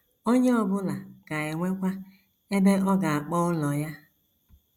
Onye ọ bụla ga - enwekwa ebe ọ ga - akpọ ụlọ ya.